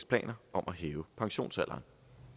planer om at hæve pensionsalderen